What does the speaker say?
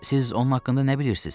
Siz onun haqqında nə bilirsiz?